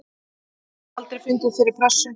Ég hef aldrei fundið fyrir pressu.